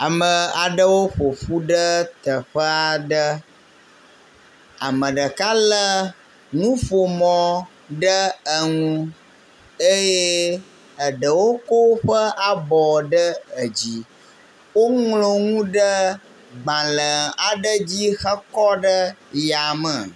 Ame aɖewo ƒoƒu ɖe teƒe aɖe. Ame ɖeka le nuƒomɔ ɖe eŋu eye eɖewo ko woƒe abɔ ɖe edzi. Woŋlɔ nu ɖe gbale aɖe dzi hekɔ ɖe yame.